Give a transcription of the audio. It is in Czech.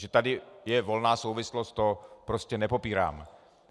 Že tady je volná souvislost, to prostě nepopírám.